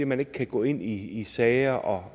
man ikke kan gå ind i sager og